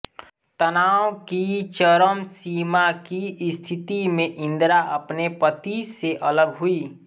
तनाव की चरम सीमा की स्थिति में इंदिरा अपने पती से अलग हुईं